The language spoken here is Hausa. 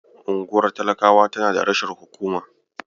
Unguwar talakawa tana da rashin hukuma.